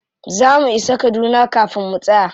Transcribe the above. Za mu isa kaduna kafin mu tsaya.